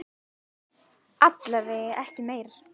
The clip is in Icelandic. Alla vega ekki meir.